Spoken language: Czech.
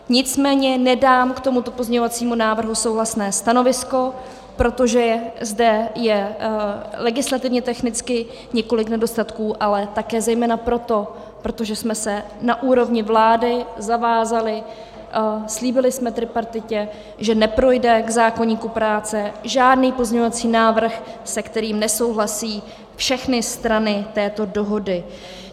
Nicméně nedám k tomuto pozměňovacímu návrhu souhlasné stanovisko, protože zde je legislativně technicky několik nedostatků, ale také zejména proto, protože jsme se na úrovni vlády zavázali, slíbili jsme tripartitě, že neprojde k zákoníku práce žádný pozměňovací návrh, se kterým nesouhlasí všechny strany této dohody.